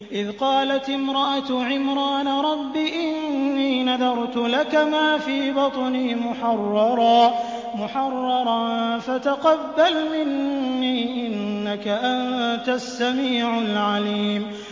إِذْ قَالَتِ امْرَأَتُ عِمْرَانَ رَبِّ إِنِّي نَذَرْتُ لَكَ مَا فِي بَطْنِي مُحَرَّرًا فَتَقَبَّلْ مِنِّي ۖ إِنَّكَ أَنتَ السَّمِيعُ الْعَلِيمُ